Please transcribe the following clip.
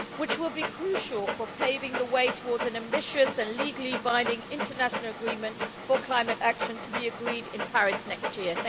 This will be crucial for paving the way towards an ambitious and legally binding international agreement for climate action, to be agreed in Paris next year.